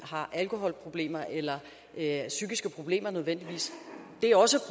har alkoholproblemer eller psykiske problemer nødvendigvis det er også